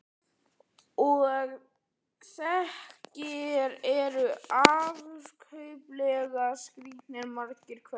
Og þeir eru afskaplega skrítnir, margir hverjir.